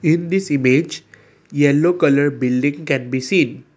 in this image yellow colour building can be seen.